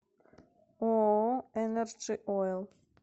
ооо энерджи оил